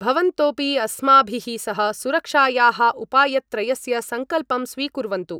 भवन्तोऽपि अस्माभिः सह सुरक्षायाः उपायत्रयस्य संकल्पं स्वीकुर्वन्तु